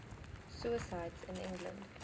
suicides in england